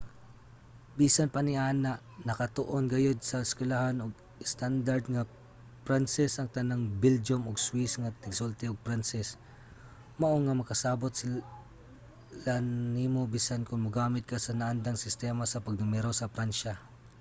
bisan pa niana nakatuon gayod sa eskuwelahan og estandard nga pranses ang tanang belgian ug swiss nga tigsulti og pranses mao nga makasabot sila nimo bisan kon maggamit ka sa naandang sistema sa pagnumero sa pransya